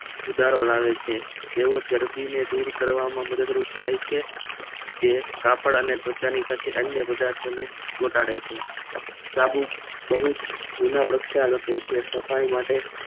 સફાઈ માટે સુધારો લાવે છે અને ચરબીને દૂર કરવામાં મદદરૂપ થાય છે જે કાપડ અને ત્વચાની સાથે અન્ય પદાર્થોને ચોંટાડે છે સાબુ બહુ જ જૂના પ્રક્ષાલકો છે